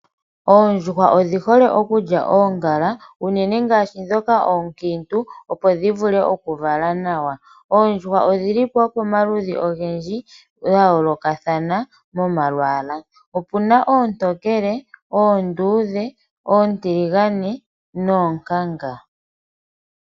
Oondjuhwa odhi hole okulya oongala, unene ngaashi ndhoka oonkiintu opo dhi vule oku vala nawa. Oondjuhwa odhili po wo pomaludhi ogendji ga yoolokathana momalwaala. Opuna oontonkele, oondudhe, oontiligane noonkanga.